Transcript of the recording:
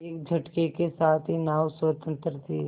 एक झटके के साथ ही नाव स्वतंत्र थी